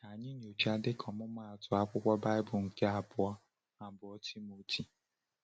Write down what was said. Ka anyị nyochaa, dịka ọmụmaatụ, akwụkwọ Baịbụl nke Abụ abụọ Timoteo.